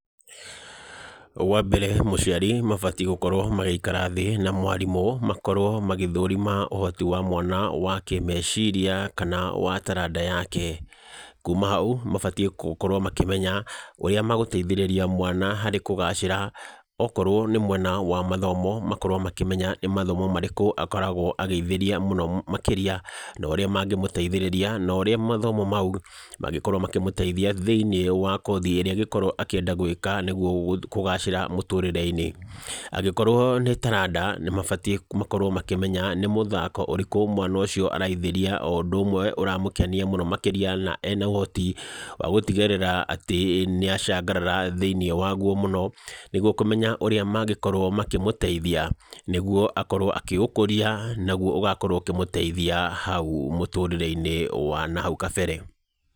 Wa mbere mũciari mabatiĩ gũkorwo magĩikara thĩ na mwarimũ, makorwo magĩthũrima ũhoti wa mwana wa kĩmeciria, kana wa taranda yake. Kuuma hau, mabatiĩ gũkorwo makĩmenya ũrĩa magũteithĩrĩria mwana harĩ kũgacĩra. Okorwo nĩ mwena wa mathomo, makorwo makĩmenya nĩ mathomo marĩkũ akoragwo agĩithĩria mũno makĩria, na ũrĩa mangĩmũteithĩrĩria, na ũrĩa mathomo mau mangĩkorwo makĩmũteithia thĩiniĩ wa kothi ĩrĩa angĩkorwo akĩenda gwĩka nĩguo kũgacĩra mũtũrĩre-inĩ. Angĩkorwo nĩ taranda, nĩ mabatiĩ makorwo makĩmenya nĩ mũthako ũrĩkũ mwana ũcio araithĩria o ũndũ ũwe ũramũkenia mũno makĩria na ena ũhoti, wa gũtigĩrĩra atĩ nĩ acangarara thĩiniĩ wa guo mũno. Nĩguo kũmenya ũrĩa mangĩkorwo makĩmũteithia, nĩguo akorwo akĩũkũria, naguo ũgakorwo ũkĩmũteithia hau mũtũrĩre-inĩ wa nahau kabere.